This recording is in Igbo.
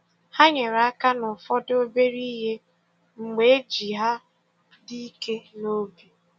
Ha nyere aka n’ụfọdụ obere ihe mgbe enyi ha dị ike n’obi.